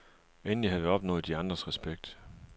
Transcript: Endelig havde vi opnået de andres respekt.